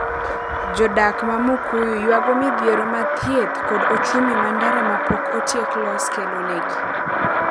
Jodak ma Mukuyu ywago midhiero mar thieth kod ochumi ma ndara ma pok otiek los kelonegi.